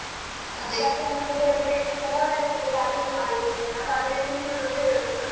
ಏನಂತ ಕೇಳಿದ್ರೆ ಕೆಲವರೆಲ್ಲ ಹೇಳುದು ಅಡುಗೆ ಮಾಡುದುಂತ ನಾನು ಅಡುಗೆ ತಿನ್ನುದುಂತ ಹೇಳುದು.